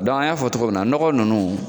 Dɔnku an y'a fɔ cogo min na nɔgɔ ninnu